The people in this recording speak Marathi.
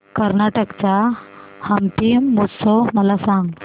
कर्नाटक चा हम्पी महोत्सव मला सांग